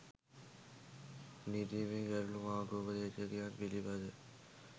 නීතිමය ගැටළු මාර්ගෝපදේශකයන් පිළිබඳ